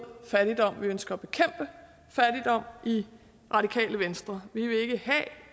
fattigdom vi ønsker i radikale venstre